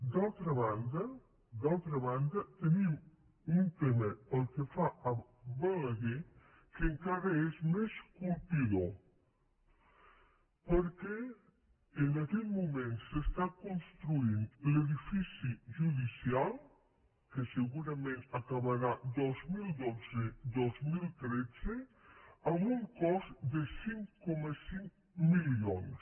d’altra banda d’altra banda tenim un tema pel que fa a balaguer que encara és més colpidor perquè en aquest moment s’està construint l’edifici judicial que segurament acabarà dos mil dotze dos mil tretze amb un cost de cinc coma cinc milions